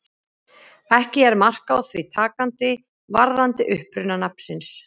Ekki er mark á því takandi varðandi uppruna nafnsins.